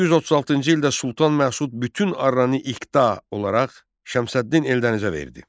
1136-cı ildə Sultan Məsud bütün Arranı İqta olaraq Şəmsəddin Eldənizə verdi.